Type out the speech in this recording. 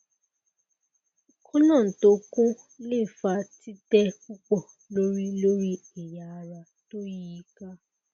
colon to kun le fa tite pupo lori lori eya ara to yi i ka